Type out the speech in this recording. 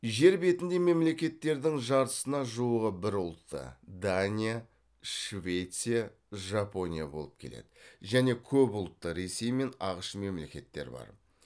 жер бетіндегі мемлекеттердің жартысына жуығы бір ұлтты болып келеді және көп ұлтты мемлекеттер бар